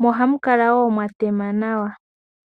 mo oha mu kala wo mwatema nawa.